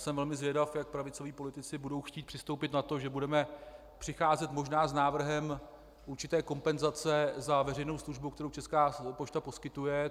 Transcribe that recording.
Jsem velmi zvědav, jak pravicoví politici budou chtít přistoupit na to, že budeme přicházet možná s návrhem určité kompenzace za veřejnou službu, kterou Česká pošta poskytuje.